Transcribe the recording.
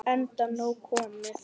Enda nóg komið.